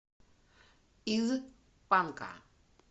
из панка